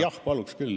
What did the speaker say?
Jah, paluks küll.